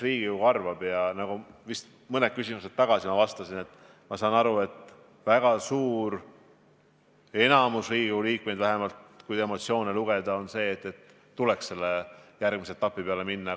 Vist mõni küsimus tagasi ma vastasin, et saan aru, et valdav enamik Riigikogu liikmeid – vähemalt emotsioone lugedes – on seisukohal, et tuleks järgmisele etapile üle minna.